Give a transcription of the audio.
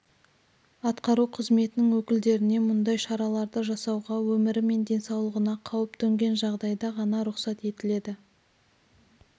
атқару қызметінің өкілдеріне мұндай шараларды жасауға өмірі мен денсаулығына қауіп төнген жағдайда ғана рұқсат етіледі